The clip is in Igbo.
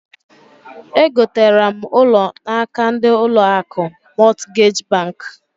E gotara m ụlọ n'aka ndi ụlọ akụ Mọtgej bank.